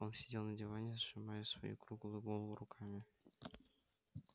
он сидел на диване сжимая свою круглую голову руками